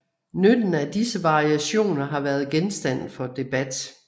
Nytten af disse variationer har været genstand for debat